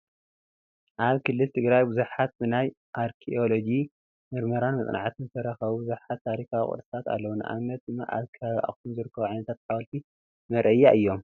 ኣብ ክልል ትግራይ ብዙሓት ብናይ ኣርኬኤሎጂ ምርምርን መፅናዕትን ዝተረኸቡ ብዙሓት ታሪካዊ ቅርስታት ኣለው፡፡ ንኣብነት ድማ ኣብ ከባቢ ኣኽሱም ዝርከቡ ዓይነታ ሓወልትታት መርኣያ እዮም፡፡